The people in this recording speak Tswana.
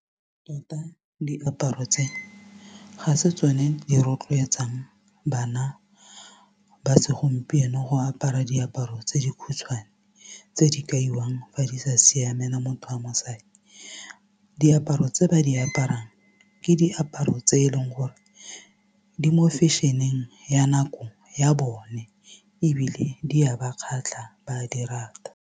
Tota diaparo tse ga se tsone di rotloetsang bana ba segompieno go apara diaparo tse di khutshwane tse di kaiwang fa di sa siamela motho wa mosadi diaparo tse ba di aparang ke diaparo tse eleng gore di mo fashion-eng ya nako ya bone ebile di a ba kgatlha ba a di rata.